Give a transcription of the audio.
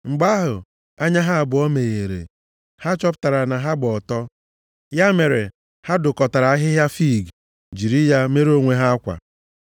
Mgbe ahụ, anya ha abụọ meghere, ha chọpụtara na ha gba ọtọ. Ya mere, ha dụkọtara ahịhịa fiig, jiri ya mere onwe ha akwa.